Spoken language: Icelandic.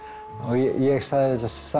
ég sagði